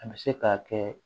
A bɛ se k'a kɛ